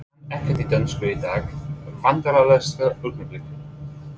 Kann ekkert í dönsku í dag Vandræðalegasta augnablik?